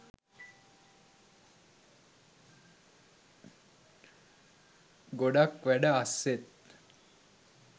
ගොඩක් වැඩ අස්සෙත්